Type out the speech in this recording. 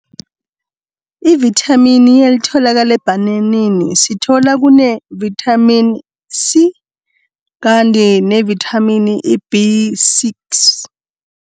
Ivithamini elitholakala ebhananeni, sithola kune-vitamin C kanti ne-vitamini B six.